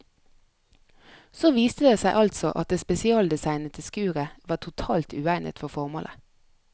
Så viste det seg altså at det spesialdesignede skuret var totalt uegnet for formålet.